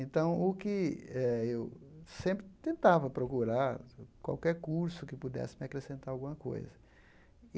Então, o que eh eu sempre tentava procurar, qualquer curso que pudesse me acrescentar alguma coisa.